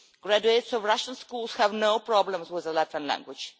Graduates of Russian schools have no problems with the Latvian language.